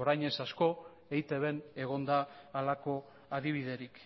orain ez asko eitbn egon da halako adibiderik